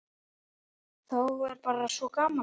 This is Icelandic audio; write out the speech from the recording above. Þá er bara svo gaman.